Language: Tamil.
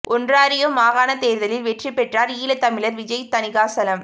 ஒன்ராரியோ மாகாணத் தேர்தலில் வெற்றி பெற்றார் ஈழத் தமிழர் விஜய் தணிகாசலம்